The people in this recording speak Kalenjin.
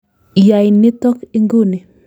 Yai nitok inguni !